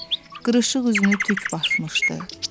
Qırışıq üzünü tük basmışdı.